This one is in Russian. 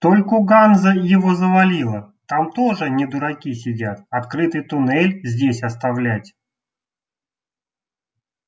только ганза его завалила там тоже не дураки сидят открытый туннель здесь оставлять